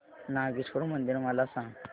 नागेश्वर मंदिर मला सांग